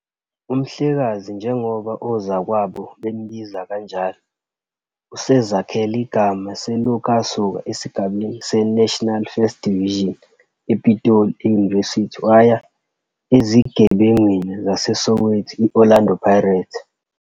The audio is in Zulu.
UMhlekazi, njengoba ozakwabo bembiza kanjalo, usezakhele igama selokhu asuka esigabeni seNational First Division ePitoli University waya ezigebengwini zaseSoweto i-Orlando Pirates.